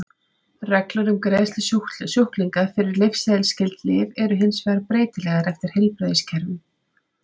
Reglur um greiðslu sjúklinga fyrir lyfseðilsskyld lyf eru hins vegar breytilegar eftir heilbrigðiskerfum.